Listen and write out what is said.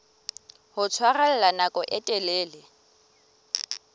ho tshwarella nako e telele